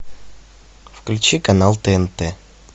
включи канал тнт